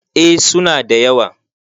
eh suna da yawa